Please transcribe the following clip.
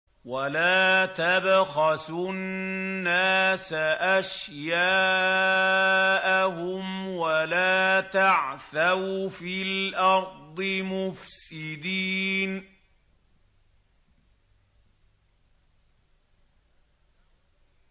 وَلَا تَبْخَسُوا النَّاسَ أَشْيَاءَهُمْ وَلَا تَعْثَوْا فِي الْأَرْضِ مُفْسِدِينَ